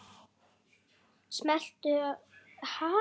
Þjáning og þögult óp!